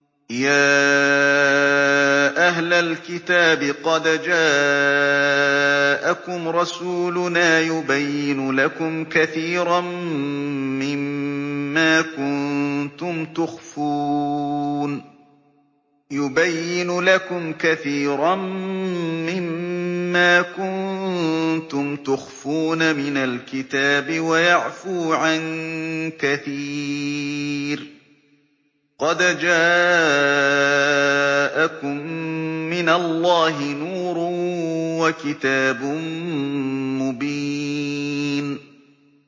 يَا أَهْلَ الْكِتَابِ قَدْ جَاءَكُمْ رَسُولُنَا يُبَيِّنُ لَكُمْ كَثِيرًا مِّمَّا كُنتُمْ تُخْفُونَ مِنَ الْكِتَابِ وَيَعْفُو عَن كَثِيرٍ ۚ قَدْ جَاءَكُم مِّنَ اللَّهِ نُورٌ وَكِتَابٌ مُّبِينٌ